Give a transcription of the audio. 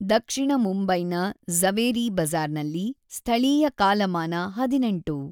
ದಕ್ಷಿಣ ಮುಂಬೈನ ಝವೇರಿ ಬಜಾರ್‌ನಲ್ಲಿ ಸ್ಥಳೀಯ ಕಾಲಮಾನ ೧೮.